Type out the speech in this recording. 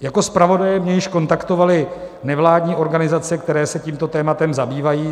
Jako zpravodaje mě již kontaktovaly nevládní organizace, které se tímto tématem zabývají.